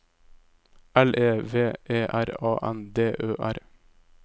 L E V E R A N D Ø R